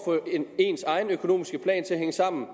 ens egen økonomiske plan til at hænge sammen